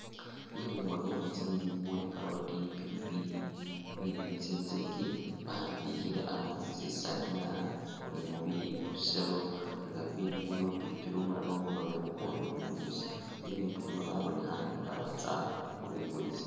Bilungo byemutsinyenyi muli carrot, pilipili ni tsintsaki babibikhile a'ano khutsisaaniya ni mubiselo nga bibindu bino pilipili umulala umuroobe ukundi umubisi, bibindu bino babonekhane nga batsa khubikulisa